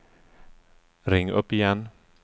ring upp igen